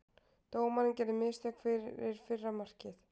Dómarinn gerði mistök fyrir fyrra markið.